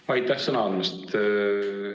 Aitäh sõna andmast!